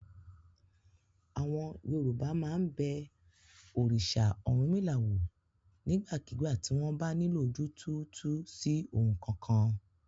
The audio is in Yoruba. Àwọn Yorùbá máa ń bẹ òrìṣà Ọ̀rúnmìlà wò nígbàkigbà tí wọ́n bá nílò ojú túútúú sí ohun kankan.